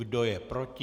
Kdo je proti?